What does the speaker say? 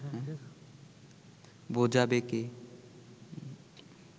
বোঝাবে কে